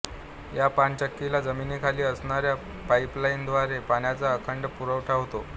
या पाणचक्कीला जमिनीखाली असणाऱ्या पाईपलाइनव्दारे पाण्याचा अखंड पुरवठा होतो